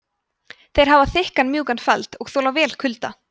þeir hafa þykkan mjúkan feld og þola vel kulda